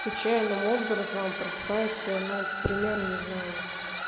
случайным образом просыпаешься ну к примеру не знаю